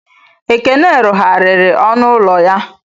Ekene rụgharịrị ọnụ ụlọ ya.